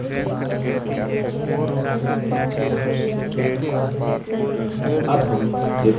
अब हम report builder नामक एक नई window देखते हैं